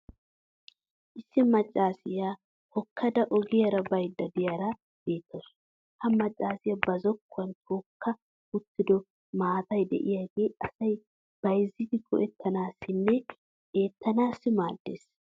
issi macaassiya hookkada oggiyaara baydda diyaara beettawusu. ha macaassiya ba zokkuwan tookka uttido maattay diyaagee asay bayzzidi go'ettanaassinne eettanaassi maadees.